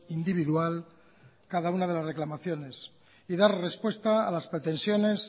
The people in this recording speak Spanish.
individual cada una de las reclamaciones y dar respuesta a las pretensiones